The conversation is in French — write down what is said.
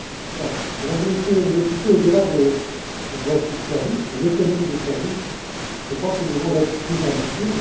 Voilà, Mesdames et Messieurs les députés, au delà de la directive sur les services, de l'économie des services, je crois que nous devons être plus ambitieux.